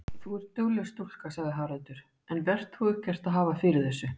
Þú ert dugleg stúlka, sagði Haraldur, en vert þú ekkert að hafa fyrir þessu.